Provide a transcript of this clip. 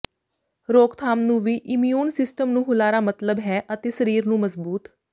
ਰੋਕਥਾਮ ਨੂੰ ਵੀ ਇਮਿਊਨ ਸਿਸਟਮ ਨੂੰ ਹੁਲਾਰਾ ਮਤਲਬ ਹੈ ਅਤੇ ਸਰੀਰ ਨੂੰ ਮਜ਼ਬੂਤ